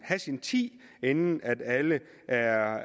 have sin tid inden alle er